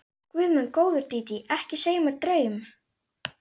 Guð minn góður, Dídí, ekki segja mér draum.